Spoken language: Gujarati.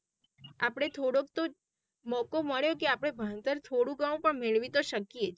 આપડે થોડોકે તો મોકો મળ્યો કે આપડે ભણતર થોડો ગણો મેળવી તો શકીયે.